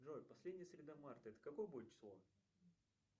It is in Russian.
джой последняя среда марта это какое будет число